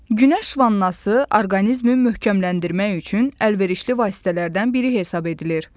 Günəş vannası orqanizmi möhkəmləndirmək üçün əlverişli vasitələrdən biri hesab edilir.